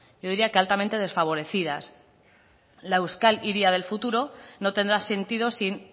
yo diría que altamente desfavorecidas la euskal hiria del futuro no tendrá sentido sin